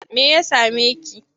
Me ya same ki?